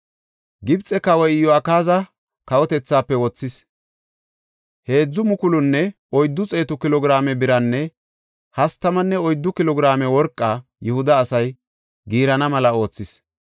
Gibxe kawoy Iyo7akaaza kawotethaafe wothis; heedzu mukulunne oyddu xeetu kilo giraame biranne hastamanne oyddu kilo giraame worqa Yihuda asay giirana mela oothis.